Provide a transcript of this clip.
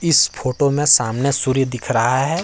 इस फोटो में सामने सूर्य दिख रहा है।